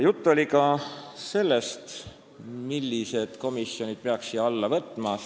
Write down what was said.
Juttu oli ka sellest, millised komisjonid peaksid siia alla kuuluma.